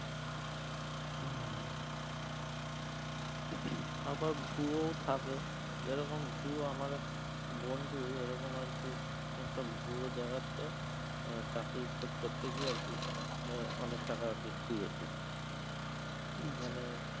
আবার ভুয়ো থাকে যেরকম ভুয়ো আমার এক বন্ধু এরকম আর কি একটা ভুয়ো জায়গাতে আহ চাকরির খোঁজ করতে গিয়ে আর কি আহ অনেক টাকা আর কি খুইয়েছে